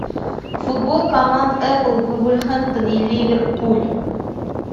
футбол команд апл вулверхэмптон и ливерпуль